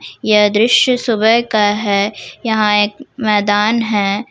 यह दृश्य सुबह का है यहां एक मैदान है।